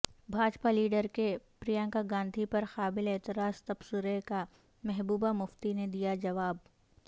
Bhajpa leader کے پرینکا گاندھی پر قابل اعتراض تبصرے کامحبوبہ مفتی نے دیا جواب